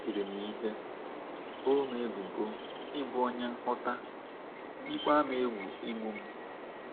E tiri m ihe, boo m ebubo ịbụ onye nhụta, yikwa m egwu igbu m.